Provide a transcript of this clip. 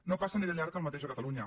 no passa ni de llarg el mateix a catalunya